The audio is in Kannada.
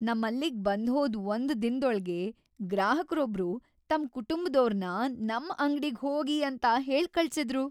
ನಮ್ಮಲ್ಲಿಗ್ ಬಂದ್ಹೋದ್ ಒಂದ್ ದಿನದೊಳ್ಗೇ ಗ್ರಾಹಕ್ರೊಬ್ರು ತಮ್ ಕುಟುಂಬ್ದೋರ್ನ ನಮ್ ಅಂಗ್ಡಿಗ್ ಹೋಗಿ ಅಂತ ಹೇಳ್ಕಳ್ಸಿದ್ರು.